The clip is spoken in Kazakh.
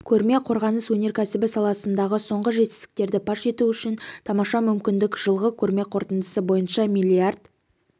көрме қорғаныс өнеркәсібі саласындағы соңғы жетістіктерді паш ету үшін тамаша мүмкіндік жылғы көрме қорытындысы бойынша миллиард